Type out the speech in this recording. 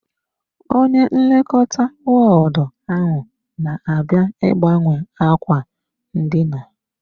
Onye nlekọta wọọdụ ahụ na-abịa ịgbanwe ákwà ndina.